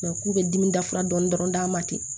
k'u bɛ dimi dafara dɔɔni dɔrɔn a ma ten